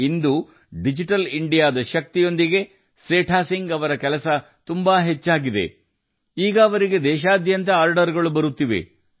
ಇಂದು digital ಇಂಡಿಯಾದ ಶಕ್ತಿಯೊಂದಿಗೆ ಸೇಠ ಸಿಂಗ್ ಜೀ ಅವರ ಕೆಲಸವು ತುಂಬಾ ಬೆಳೆದಿದೆ ಈಗ ಅವರಿಗೆ ದೇಶಾದ್ಯಂತ ಆರ್ಡರ್ ಗಳು ಬರುತ್ತಿವೆ